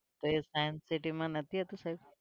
તો એ science city માં નથી હતું સાહેબ?